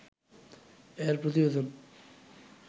এর প্রতিবেদন